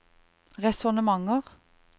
resonnementer